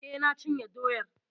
Eh, na cinye doyar.